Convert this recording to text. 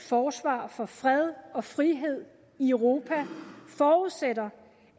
forsvar for fred og frihed i europa forudsætter